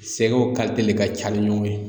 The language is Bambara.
Sɛgɛw de ka ca ni ɲɔgɔn ye